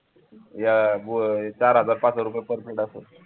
चार हजार पाच हजार रुपये per plate असेल